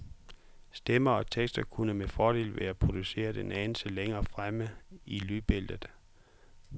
Stemmer og tekster kunne med fordel være produceret en anelse længere frem i lydbilledet.